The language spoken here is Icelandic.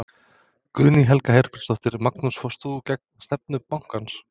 Guðný Helga Herbertsdóttir: Magnús fórst þú gegn stefnu bankans?